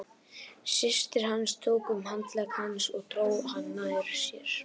Systir hans tók um handlegg hans og dró hann nær sér.